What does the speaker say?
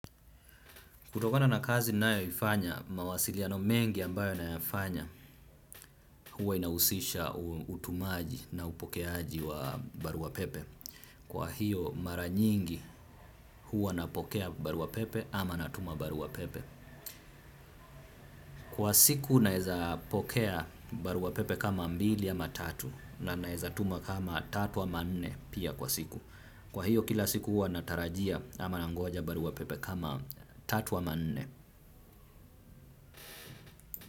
Kutokona na kazi ninayoifanya mawasiliano mengi ambayo nayafanya, huwa inahusisha utumaji na upokeaji wa barua pepe. Kwa hiyo mara nyingi huwa napokea barua pepe ama natuma barua pepe. Kwa siku naeza pokea barua pepe kama mbili ama tatu na naeza tuma kama tatu ama nene pia kwa siku. Kwa hiyo kila siku huwa natarajia ama nangoja barua pepe kama tatu ama nne.